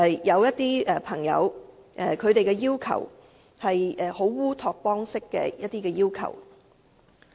有些朋友提出了一些烏托邦式的要求。